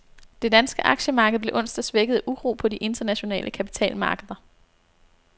Det danske aktiemarked blev onsdag svækket af uro på de internationale kapitalmarkeder.